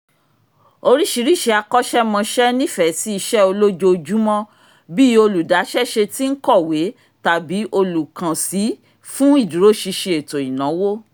oríṣiríṣi akọ́ṣẹ́mọṣẹ́ nífẹ̀ẹ́ sí iṣẹ́ olójoojúmọ́ bí i olùdáṣẹ́ṣe tí ń kọ̀wé tàbí olùkànsí fún ìdúró sinsin ètò ìnáwó